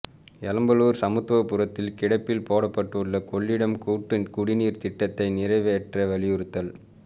எளம்பலூர் சமத்துவபுரத்தில் கிடப்பில் போடப்பட்டுள்ள கொள்ளிடம் கூட்டுக் குடிநீர் திட்டத்தை நிறைவேற்ற வலியுறுத்தல்